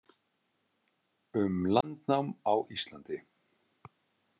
Um landnám á Íslandi.